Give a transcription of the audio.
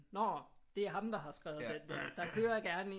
Nå det er ham der har skrevet den der der kører gerne en